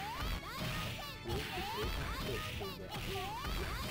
челси против шеффилда